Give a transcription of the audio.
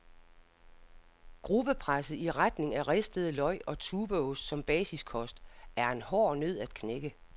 Gruppepresset i retning af ristede løg og tubeost som basiskost, er en hård nød at knække.